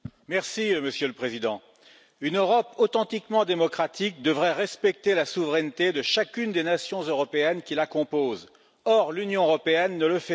Monsieur le Président, une Europe authentiquement démocratique devrait respecter la souveraineté de chacune des nations européennes qui la composent, or l'Union européenne ne le fait pas.